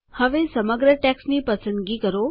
હવે સમગ્ર ટેક્સ્ટની પસંદગી કરો